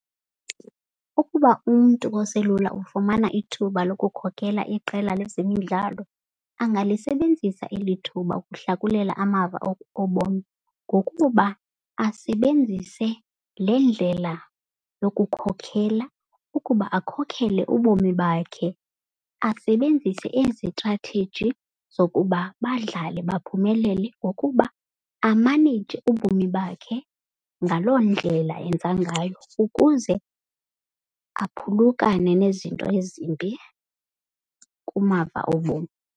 Ukuba umntu oselula ufumana ithuba lokukhokela iqela lezemidlalo angalisebenzisa eli thuba ukuhlakulela amava obomi. Ngokuba asebenzise le ndlela yokukhokhela ukuba akhokhele ubomi bakhe. Asebenzise ezi tratheji zokuba badlale baphumelele ngokuba amaneyije ubomi bakhe. Ngaloo ndlela enza ngayo ukuze aphulukane nezinto ezimbi kumava obomi.